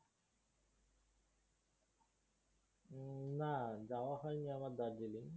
না, যাওয়া হইনি আমার Darjeeling